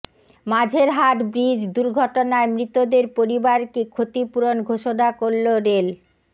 Majerhat bridge দুর্ঘটনায় মৃতদের পরিবারকে ক্ষতিপূরণ ঘোষণা করল রেল